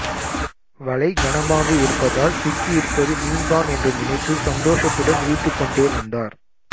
வலை கனமாக இருப்பதால் சிக்கியிருப்பது மீன்தான் என்று நினைத்து சந்தோஷத்துடன் இழுத்துக்கொண்டே வந்தார்